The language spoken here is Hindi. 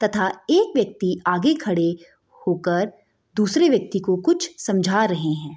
तथा एक व्यक्ति आगे खड़े होकर दुसरे व्यक्ति को कुछ समझा रहे हैं |